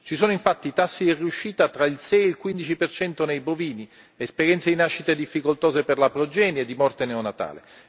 Ci sono infatti i tassi di riuscita tra il 6 e il 15 nei bovini, esperienze di nascite difficoltose per la progenie, di morte neonatale.